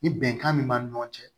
Ni bɛnkan min b'an ni ɲɔgɔn cɛ